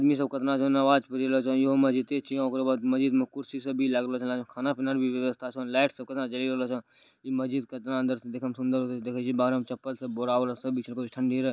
हीनी सब केतना नमाज इहो मस्जिदों छीये ओकरा बाद मस्जिद में कुर्सी सब भी लागलो छलो लागे छो खाना पीना के भी व्यवस्था छो लाइट सब कोना रहल छो इ मस्जिद केतना अंदर से देखें में सुंदर लगे छो देखे छी बाहर मे चप्पल सब बोरा उड़ा सब बिछल लगे छो ठंडी रहे।